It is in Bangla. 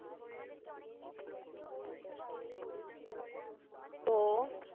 তো